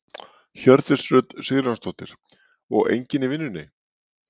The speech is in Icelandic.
Hjördís Rut Sigurjónsdóttir: Og enginn í vinnunni?